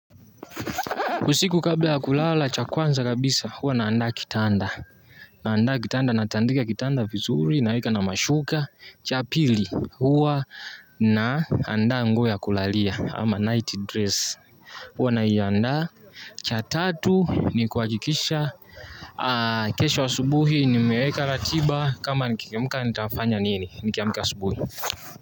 Usiku kabla ya kulala cha kwanza kabisa huwa naandaa kitanda. Naandaa kitanda natandika kitanda vizuri naeka na mashuka. Cha pili huwa naandaa nguo ya kulalia ama nightdress. Huwa naiandaa cha tatu ni kuhakikisha. Kesho asubuhi nimeeka ratiba kama nikiamka nitafanya nini nikiamka asubuhi.